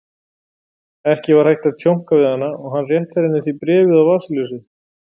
Ekki var hægt að tjónka við hana og hann rétti henni því bréfið og vasaljósið.